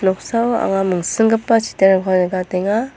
noksao anga mingsinggipa chidareko nikatenga.